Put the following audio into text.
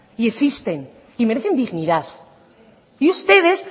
y existen y merecen dignidad y ustedes